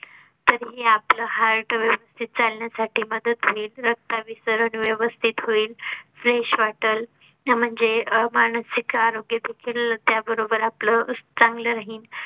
तर हे आपलं heart व्यवस्थित चालण्या साठी मदत होऊही रक्ताभिसरण व्यवस्तीत होईल. fresh वाटेल म्हणजे अह मानसिक आरोग्य देखील त्याबरोबर आपलं चांगलं राहील